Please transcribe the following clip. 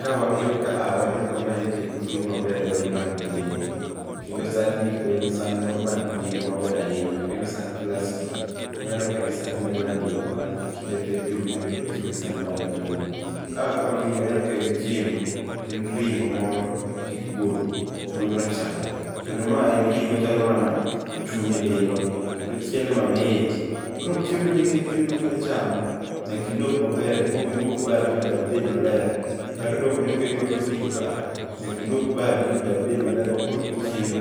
Ka wang'iyo kaa waneno ka maeki en chiemo maber ahinya man gi nengo, kendo san ni eki be en san man gi nengo maber ahinya ok en sand plastic, waneno ka en sand melanin ma kinde te ji owinjore bed ni chieme e san mar melanin. Kaa ka wang'iyo waneno ka en chiemo, en ring'o moro gi kuon, kuond rachar. Kendo ma en ring'o chalo mana chuny lilo, kendo ochiele mamit. Koro chiemo ni en chiemo ma ka idwa chamo nyaka ilog maber, ikuong iluok badi ma badi bed maler kata odoko ni oketnwa kijiko kaa, nyaka iluok badi ma badi bed maler ma koro ka ichiemo,